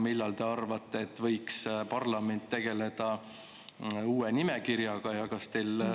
Millal võiks parlament teie arvates tegeleda uue nimekirjaga?